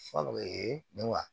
Fɔlɔ ee wa